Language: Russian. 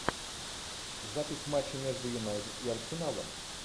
запись матча между юнайтед и арсеналом